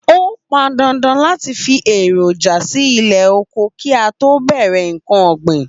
Ó pan dandan láti fi èròjà sí ilé oko kí a tó bẹ̀rẹ̀ ǹkan ọ̀gbìn